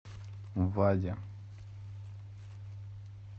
ваде